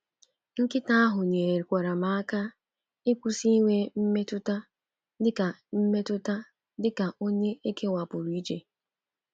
Nkịta ahụ nyekwaara m aka ịkwụsị inwe mmetụta dịka mmetụta dịka onye ekewapụrụ iche.